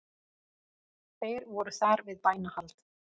Þeir voru þar við bænahald